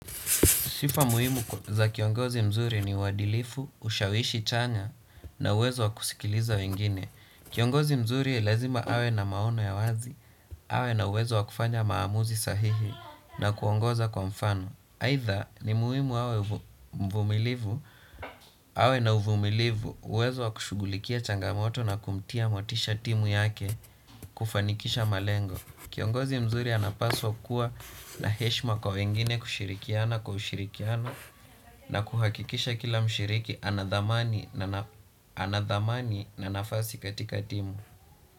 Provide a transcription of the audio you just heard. Sifa muhimu za kiongozi mzuri ni uwadilifu, ushawishi chanya na uwezo wa kusikiliza wengine. Kiongozi mzuri lazima awe na maono ya wazi, awe na uwezo wa kufanya maamuzi sahihi na kuongoza kwa mfano. Aidha ni muhimu awe na uvumilivu, uwezo wa kushughulikia changamoto na kumtia motisha timu yake kufanikisha malengo. Kiongozi mzuri anapaswa kuwa na heshima kwa wengine kushirikiana kwa ushirikiano na kuhakikisha kila mshiriki ana dhamani na nafasi katika timu.